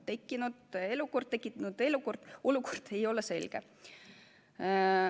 Tekkinud olukord ei ole selge.